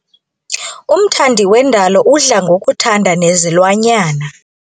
Umthandi wendalo udla ngokuthanda nezilwanyana.